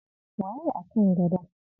Waye a kan gadon?